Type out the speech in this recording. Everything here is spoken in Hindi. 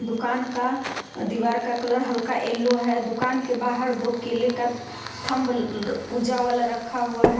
दुकान का दीवार का कलर हल्का येलो है दुकान के बाहर दो केले का थंब पूजा वाला रखा हुआ है।